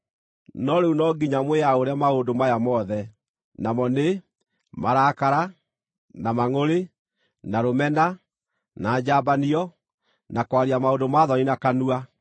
No rĩu no nginya mwĩaũre maũndũ maya mothe, namo nĩ, marakara, na mangʼũrĩ, na rũmena, na njambanio, na kwaria maũndũ ma thoni na kanua.